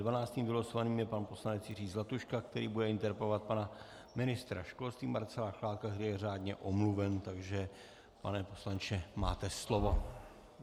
Dvanáctým vylosovaným je pan poslanec Jiří Zlatuška, který bude interpelovat pana ministra školství Marcela Chládka, který je řádně omluven, takže pane poslanče, máte slovo.